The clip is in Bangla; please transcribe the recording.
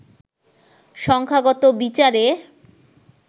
সংখ্যাগত বিচারে